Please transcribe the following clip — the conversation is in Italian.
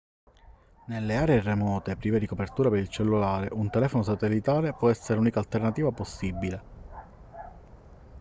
nelle aree remote prive di copertura per il cellulare un telefono satellitare può essere l'unica alternativa possibile